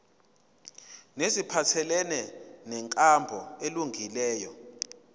neziphathelene nenkambo elungileyo